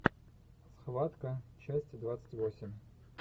схватка часть двадцать восемь